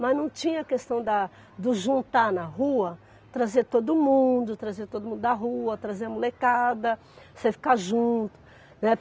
Mas não tinha a questão da do juntar na rua, trazer todo mundo, trazer todo mundo da rua, trazer a molecada, você ficar junto, né?